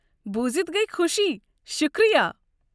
بوُزِتھ گٔیہ خوشی، شکریہ۔